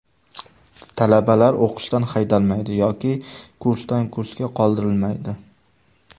Talabalar o‘qishdan haydalmaydi yoki kursdan-kursga qoldirilmaydi.